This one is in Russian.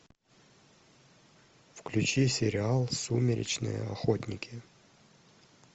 включи сериал сумеречные охотники